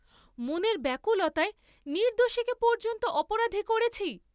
মনের ব্যাকুলতায় নির্দ্দোষীকে পর্যন্ত অপরাধী করেছি।